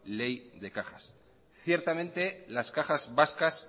ley de cajas ciertamente las cajas vascas